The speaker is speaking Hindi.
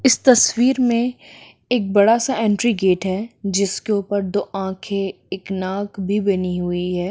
इस तस्वीर मे एक बड़ा सा एंट्री गेट है जिस के ऊपर दो आंखे एक नाक भी बनी हुई है।